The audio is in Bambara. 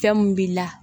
Fɛn mun b'i la